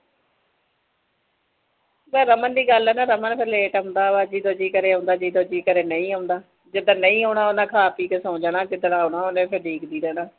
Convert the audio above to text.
ਜੇ ਰਮਨ ਦੀ ਗੱਲ ਆ ਨਾ ਰਮਨ ਫਿਰ late ਆਉਂਦਾ ਜਦੋਂ ਜੀਅ ਕਰੇ ਆਉਂਦਾ ਜਦੋਂ ਜੀਅ ਕਰੇ ਨਹੀਂ ਆਉਂਦਾ ਜਿਸ ਦਿਨ ਨਹੀਂ ਆਉਣਾ ਉਹਨੇ ਖਾ ਪੀ ਕੇ ਸੌ ਜਾਣਾ ਤੇ ਜਿਸ ਦਿਨ ਆਉਣਾ ਉਹਨੇ ਫਿਰ ਉਡੀਕਦੀ ਰਹਿਣਾ